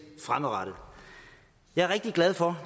jeg er rigtig glad for